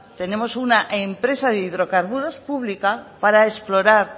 tenemos una empresa de hidrocarburos pública para explorar